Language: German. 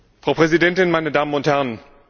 Frau Präsidentin, meine Damen und Herren!